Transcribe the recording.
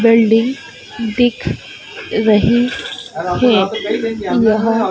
building दिख रही है यह--